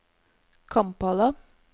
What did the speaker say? Kampala